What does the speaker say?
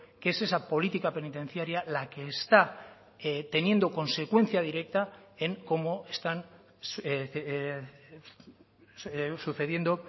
que es esa política penitenciaria la que está teniendo consecuencia directa en cómo están sucediendo